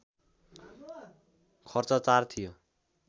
खर्च ४ थियो